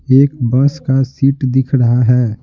एक बस का सीट दिख रहा है।